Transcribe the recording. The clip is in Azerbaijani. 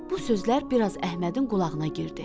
Bu sözlər bir az Əhmədin qulağına girdi.